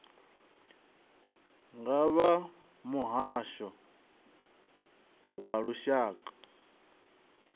nga vha muhasho wa lushaka